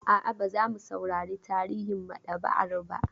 A'a, ba za mu saurari tarihin maɗaba'ar ba.